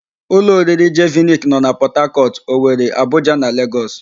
Ụlọ oriri Jeviniki nọ na Pọtakọtụ, Owere, Abuja na Legọs.